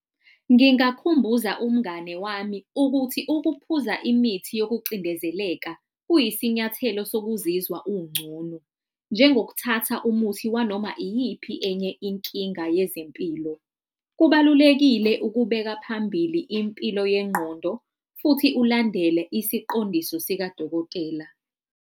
Ngingakukhumbuza umngane wami ukuthi ukuphuza imithi yokucindezeleka kuyisinyathelo sokuzizwa ungcono, njengokuthatha umuthi wanoma iyiphi enye inkinga yezempilo. Kubalulekile ukubeka phambili impilo yengqondo futhi ulandele isiqondiso sikadokotela.